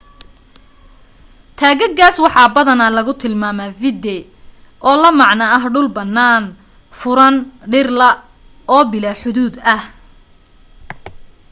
taagagaas waxa badanaa lagu tilmaamaa vidde oo la macno ah dhul bannaan furan dhir la' oo bilaa xuduud ah